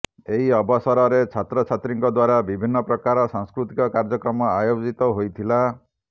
ଏହି ଅବସରରେ ଛାତ୍ରଛାତ୍ରୀଙ୍କ ଦ୍ୱାରା ବିଭିନ୍ନ ପ୍ରକାର ସାଂସ୍କୃତିକ କାର୍ଯ୍ୟକ୍ରମ ଆୟୋଜିତ ହୋଇଥିଲା